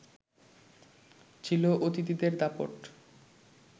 ছিল অতিথিদের দাপট